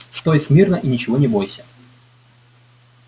стой смирно и ничего не бойся